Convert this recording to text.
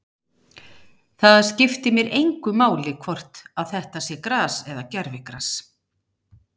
Það skiptir mig engu máli hvort að þetta sé gras eða gervigras.